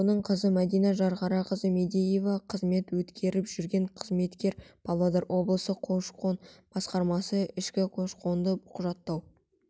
оның қызы мәдина жанхарақызы мадеева қызмет өткеріп жүрген қызметкер павлодар облысы көш-қон басқармасы ішкі көш-қонды құжаттау